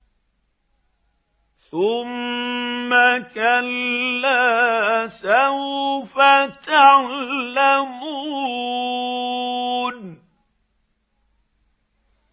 ثُمَّ كَلَّا سَوْفَ تَعْلَمُونَ